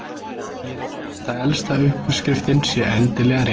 því er ekki víst að elsta uppskriftin sé endilega réttust